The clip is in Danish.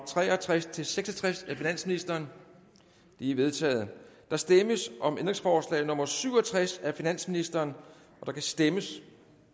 tre og tres til seks og tres af finansministeren de er vedtaget der stemmes om ændringsforslag nummer syv og tres af finansministeren der kan stemmes